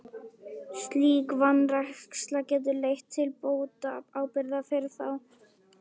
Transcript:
Slík vanræksla getur leitt til bótaábyrgðar fyrir þá.